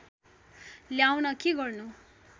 ल्याउन के गर्नु